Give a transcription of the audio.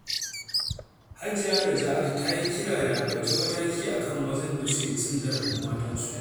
Hajiya Naja'atu ta yi kira da a ɗauki mataki a kan mazan da suke cin zarafin matansu.